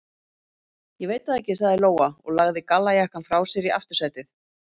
Ég veit það ekki, sagði Lóa og lagði gallajakkann frá sér í aftursætið.